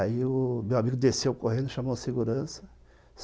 Aí o meu amigo desceu correndo, chamou a segurança.